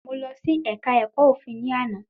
Mo lọ sí ẹ̀ka ẹ̀kọ́ òfin ni àná